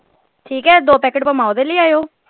ਠੀਕ ਹੈ ਦੋ packet ਪਵਾਂ ਓਹਦੇ ਲੈ ਆਇਓ।